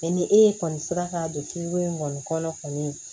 ni e kɔni sera ka don kiiri in kɔni kɔnɔ kɔni